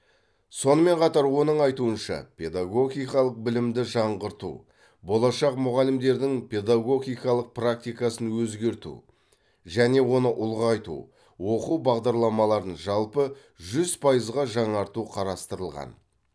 сонымен қатар оның айтуынша педагогикалық білімді жаңғырту болашақ мұғалімдердің педагогикалық практикасын өзгерту және оны ұлғайту оқу бағдарламаларын жалпы жүз пайызға жаңарту қарастырылған